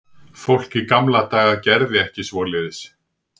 Fólk í gamla daga gerði ekki svoleiðis.